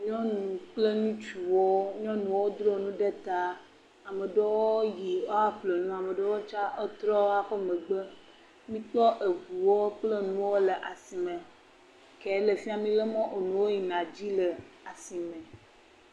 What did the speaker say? Nyɔnu kple ŋutsuwo, nyɔnuwo dzro nu ɖe ta ame ɖewo yi aƒle nu ame ɖewo tsa wotrɔ wa ƒe megbe, mikpɔ eŋuwo kple nuwo le asime ke le fi mile mɔ enuwo yina dzi le asi me.